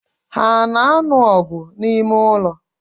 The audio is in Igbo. Ha ano anu ogu na ime-ulo?